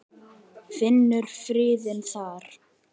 Finnur friðinn þar.